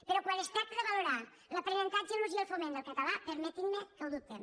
però quan es tracta de valorar l’aprenentatge l’ús i el foment del català permetin me que ho dubtem